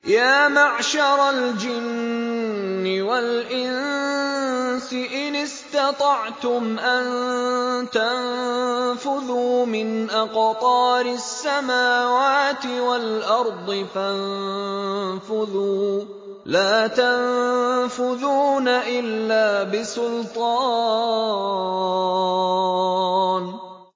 يَا مَعْشَرَ الْجِنِّ وَالْإِنسِ إِنِ اسْتَطَعْتُمْ أَن تَنفُذُوا مِنْ أَقْطَارِ السَّمَاوَاتِ وَالْأَرْضِ فَانفُذُوا ۚ لَا تَنفُذُونَ إِلَّا بِسُلْطَانٍ